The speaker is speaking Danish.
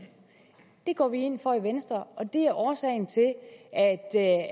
det går vi ind for i venstre og det er årsagen til